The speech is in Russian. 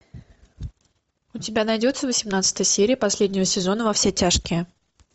у тебя найдется восемнадцатая серия последнего сезона во все тяжкие